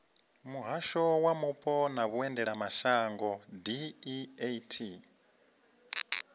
muhasho wa mupo na vhuendelamashango deat